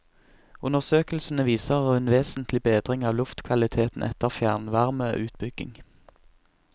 Undersøkelsene viser en vesentlig bedring av luftkvaliteten etter fjernvarmeutbygging.